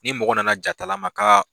Ni mɔgɔ nana jatala ma kaa.